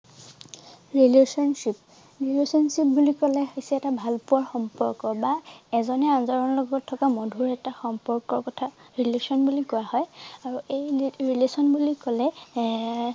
relationship relationship বুলি কলে হৈছে এটা ভালপোৱাৰ সম্পৰ্ক বা এজনে আনজনৰ লগত থকা মধূৰ এটা সম্পৰ্কৰ কথা relation বুলি কোৱা হয় আৰু এই relationship বুলি কলে